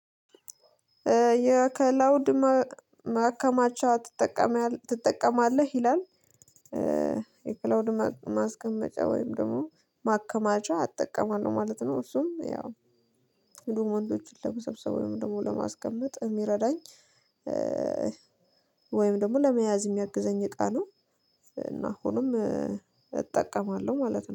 የከላውድ ማከማቻ ትጠቀማለህ ይላል? የክላውድ ማስቀመጫ ወይም ደግሞ ማከማቻ እጠቀማለው ማለት ነው። እሱም ያው ዱሞንቶችን ለመሰብሰብ ወይም ደግሞ ለማስቀመጥ የሚረዳኝ ወይም ደግሞ ለመያዝ የሚያግዘኝ እቃ ነው። እና አሁንም እጠቀማለሁ ማለት ነው